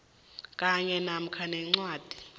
kanye namkha nencwadi